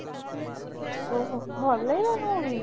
ଓ ହୋ, ଭଲ ଲାଗିଲାନି movie?